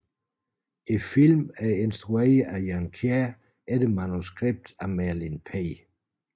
Filmen er instrueret af Jan Kjær efter manuskript af Merlin P